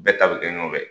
Bɛɛ ta bɛ kɛ ɲɔgɔn fɛ